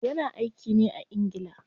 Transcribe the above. Ya na aiki ne a ingila.